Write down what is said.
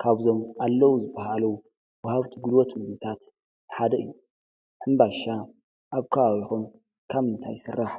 ካብዞም ኣለዉ ዝበሃሉ ውሃብቲ ግሉወት ምምልታት ሓደ እዩ። ሕምባሻ ኣብ ካዋዊኹንካብ ምእንታ ይሥራሕ?